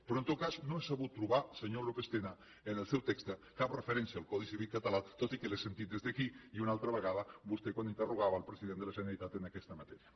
però en tot cas no he sabut trobar senyor lópez tena en el seu text cap referència al codi civil català tot i que l’he sentit des d’aquí i una altra vegada vostè quan interrogava el president de la generalitat en aquesta matèria